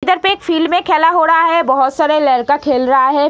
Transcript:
इधर पे एक फील्ड में खेला हो रहा है बहोत सारे लड़का खेल रहा है।